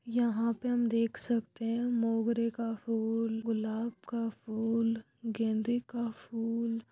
यहाँ पे हम देख सकते मोगरी का फूल गुलाब का फूल गेंदी ऍम और यहाँ पे मालाएं है ना बहुत अच्छे तरीके से सजाया गया है वो कमी हुई है।